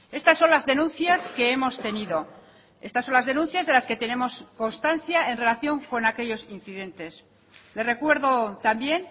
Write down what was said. estas son las denuncias que hemos tenido estas son las denuncias de las que tenemos constancia en relación con aquellos incidentes le recuerdo también